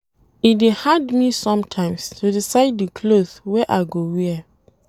E dey hard me sometimes to decide di cloth wey I go wear.